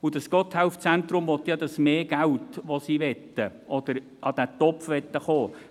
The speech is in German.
Und das Gotthelf-Zentrum will ja das zusätzliche Geld aus dem Topf, an den